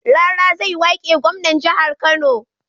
Rara zai wake gwamnan jahar kano